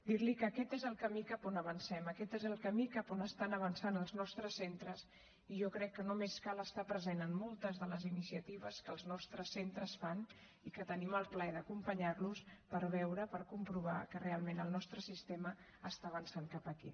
dir li que aquest és el camí cap on avancem aquest és el camí cap on estan avançant els nostres centres i jo crec que només cal estar present en moltes de les iniciatives que els nostres centres fan i que tenim el plaer d’acompanyar los per veure per comprovar que realment el nostre sistema està avançant cap aquí